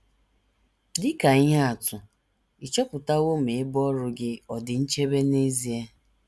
Dị ka ihe atụ, ị̀ chọpụtawo ma ebe ọrụ gị ọ̀ dị nchebe n’ezie?